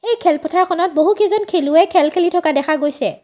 এই খেলপথাৰখনত বহু কেইজন খেলুৱৈ খেল খেলি থকা দেখা গৈছে।